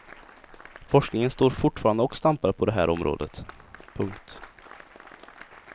Forskningen står fortfarande och stampar på det här området. punkt